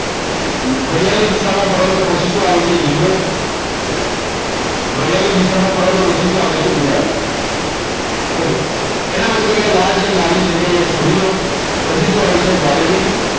ઘડિયાળની દિશામાં ફરો તો પછી શું આવે છે લીલો ઘડિયાળની દિશામાં ફરો છો તો પછી શું આવે છે ગુલાબી okay એના પછી અહીંયા લાલ છે લાલ ની જગ્યાએ અહીં છોડી દો પછી શું આવે છે વાદળી